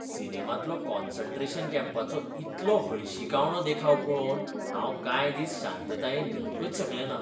सिनेमांतलो concentration कॅम्पाचो इतलो हळशिकावणो देखाव पळोवन हांव कांय दिस शांततायेन न्हिदूंकच शकलेंना.